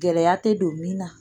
Gɛlɛya tɛ don min na